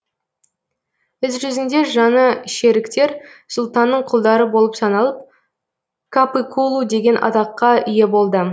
іс жүзінде жаңа шеріктер сұлтанның құлдары болып саналып капыкулу деген атаққа ие болды